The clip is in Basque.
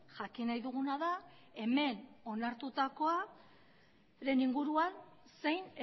jakin nahi dugun da hemen onartutakoaren inguruan zein